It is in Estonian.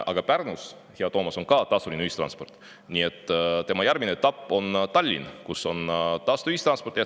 Aga Pärnus, hea Toomas, on ka tasuline ühistransport, nii et tema järgmine etapp on Tallinn, kus on tasuta ühistransport.